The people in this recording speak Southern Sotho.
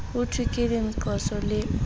hothwe ke lenqosa le o